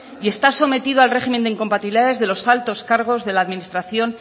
y está sometido al régimen de incompatibilidades de los altos cargos de la administración